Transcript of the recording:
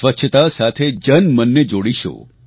સ્વચ્છતા સાથે જનમન ને જોડીશું